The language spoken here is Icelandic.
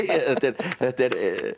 þetta er þetta er